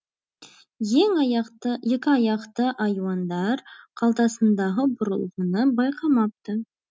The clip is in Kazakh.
ең аяқты екі аяқты айуандар қалтасындағы бұрылғыны байқамапты